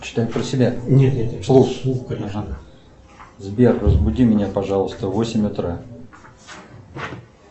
сбер разбуди меня пожалуйста в восемь утра